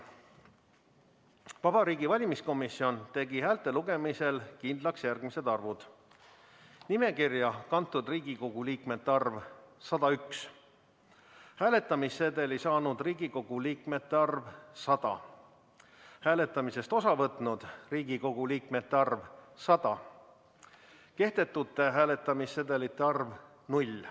Vabariigi Valimiskomisjon tegi häälte lugemisel kindlaks järgmised arvud: nimekirja kantud Riigikogu liikmete arv – 101, hääletamissedeli saanud Riigikogu liikmete arv – 100, hääletamisest osa võtnud Riigikogu liikmete arv – 100, kehtetute hääletamissedelite arv – 0.